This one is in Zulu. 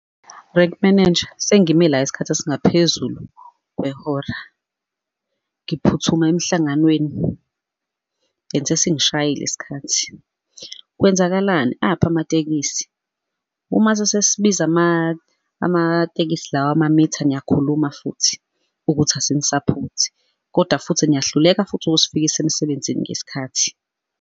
Rank manager, sengime la isikhathi esingaphezulu kwehora, ngiphuthuma emhlanganweni and singishayile isikhathi. Kwenzakalani? Aphi amatekisi? Uma sesibiza amatekisi lawa amamitha niyakhuluma futhi, ukuthi asinisaphothi, kodwa futhi niyahluleka futhi usfika emsebenzini ngesikhathi.